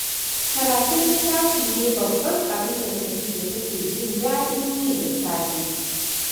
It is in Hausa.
Karatun littafi ne babban abin da Khadijah take jin daɗin yi da safe